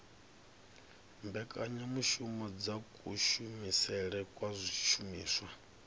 mbekanyamushumo dza kushumisele kwa zwishumiswa